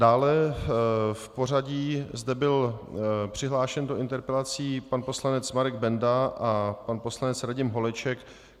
Dále v pořadí zde byl přihlášen do interpelací pan poslanec Marek Benda a pan poslanec Radim Holeček.